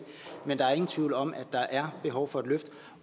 men der er ingen tvivl om at der er behov for et løft